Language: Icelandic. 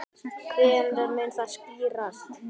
Hvenær mun það skýrast?